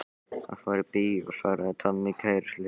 Hann fór í bíó svaraði Tommi kæruleysislega.